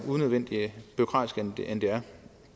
bureaukratisk end det er